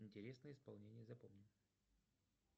интересное исполнение запомни